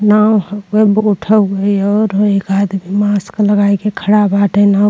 नाव हउए बोट हौए और ह एक आदभी मास्क लगाई के खड़ा बाटे नाव --